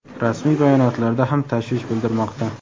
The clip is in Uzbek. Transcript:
rasmiy bayonotlarda ham tashvish bildirmoqda.